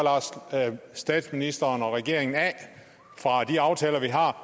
statsministeren og regeringen af fra de aftaler vi har